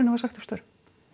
var sagt upp störfum